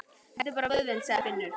Þetta er bara vöðvinn, sagði Finnur.